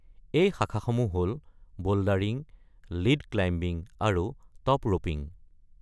এই শাখাসমূহ হ’ল বোল্ডাৰিং, লিড ক্লাইম্বিং, আৰু টপ ৰপিং।